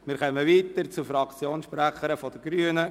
Wir kommen zur Fraktionssprecherin der Grünen.